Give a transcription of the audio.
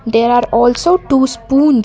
there are also two spoons.